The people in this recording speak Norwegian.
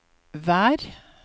vær